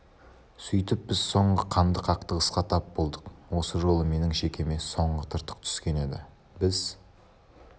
сөйтіп біз соңғы қанды қақтығысқа тап болдық осы жолы менің шекеме соңғы тыртық түскен еді біз